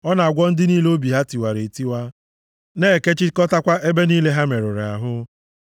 Ọ na-agwọ ndị niile obi ha tiwara etiwa na-ekechikọtakwa ebe niile ha merụrụ ahụ.